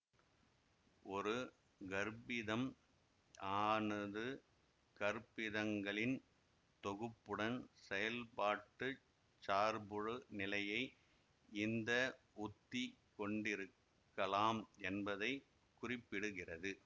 ஒரு கற்பிதம் ஆனது கற்பிதங்களின் தொகுப்புடன் செயல்பாட்டுச் சார்புநிலையை இந்த உத்தி கொண்டிருக்கலாம் என்பதை குறிப்பிடுகிறது